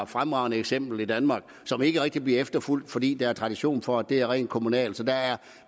fremragende eksempel i danmark som ikke rigtig bliver efterfulgt fordi der er tradition for at det er rent kommunalt så der er